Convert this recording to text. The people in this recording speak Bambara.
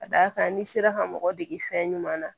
Ka d'a kan n'i sera ka mɔgɔ dege fɛn ɲuman na